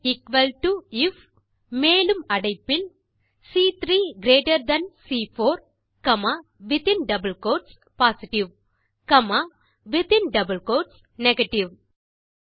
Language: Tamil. இஸ் எக்குவல் டோ ஐஎஃப் மேலும் அடைப்பில் சி3 கிரீட்டர் தன் சி4 comma within double quotes positive comma மீண்டும் வித்தின் டபிள் கோட்ஸ் நெகேட்டிவ்